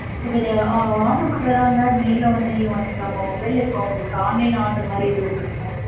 இபோ இது order பன்றேதஇருந்த வந்து நேர்ல வந்து வாங்கிக்கலாமா mobile இப்ப அவங்களுக்கு online order மாதிரி எதுவும் இருக்குங்க.